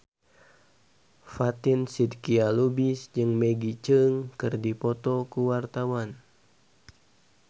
Fatin Shidqia Lubis jeung Maggie Cheung keur dipoto ku wartawan